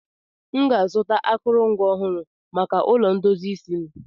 M ga-azụta akụrụngwa ọhụrụ maka ụlọ ndozi isi m